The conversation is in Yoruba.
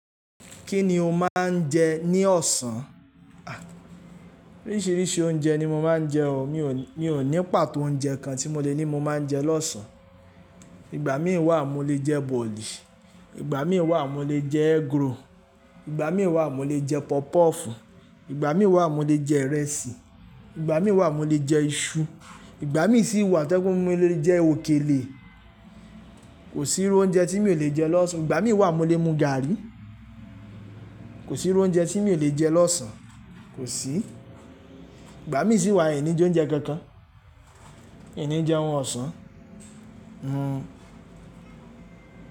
Kí ni o máa ń jẹ ní ọ̀sán? À, oríṣiríṣi oúnjẹ ni mo máa ń jẹ o, mi ò ní pàtó oúnjẹ kan tí mo lè ní mo máa ń jẹ lọ́sàn-án. Ìgbà mí wà mo lè jẹ bọ̀ọ̀lì, ìgbà mí wà mo lè jẹ egg roll, ìgbà mí wà mo lè jẹ pọpọ́ọ̀fù, ìgbà mí wà mo lè jẹ ìrẹsì, ìgbà mí wà mo lè jẹ iṣu, ìgbà mí sì wà tí ẹkún mo lè jẹ òkèlè. Kò sí irú oúnjẹ tí mi ò lè jẹ lọ́sàn, ìgbà mí wà mo lè mu gàárì. Kò sí irú oúnjẹ tí mi ò lè jẹ lọ́sàn, kò sí. Ìgbà mí sì wà ìní jẹ oúnjẹ kankan, ìní jẹ ohun ọ̀sán, mm.